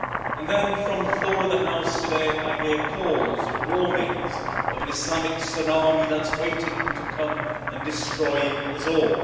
And then from the floor of the House today I hear warnings of an Islamic tsunami that is waiting to come and destroy us all.